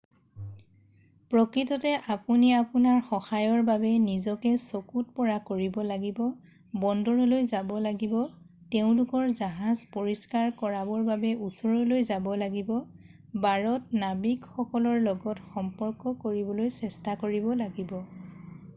প্ৰকৃততে আপুনি আপোনাৰ সহায়ৰ বাবে নিজকে চকুত পৰা কৰিব লাগিব বন্দৰলৈ যাব লাগিব তেওঁলোকৰ জাহজ পৰিষ্কাৰ কৰিবৰ বাবে ওচৰলৈ যাব লাগিব বাৰত নাৱিক সকলৰ লগত সম্পৰ্ক কৰিবলৈ চেষ্টা কৰিব লাগিব